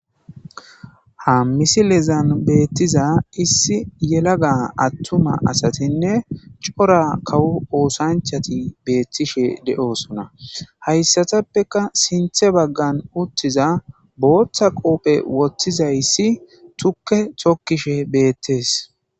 Ha misilezan beettiza issi yelaga attuma asatinne cora kawu oosanchati beettishe deosona hayssatappeka sinthe baggan uttiza booththa qoophe wottizayssi tukke tokkishe beettees.